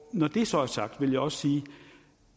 når det så er sagt vil jeg også sige